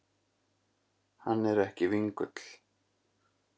Hann er ekki vingull.